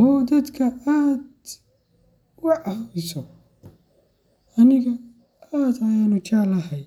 oo dadka aad u cawsio aniga aad ayan u jeclahay.